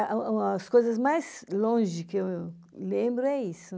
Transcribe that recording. A o o as coisas mais longe que eu lembro é isso.